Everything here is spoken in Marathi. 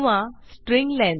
string length